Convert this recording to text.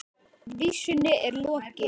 Vísunni er lokið.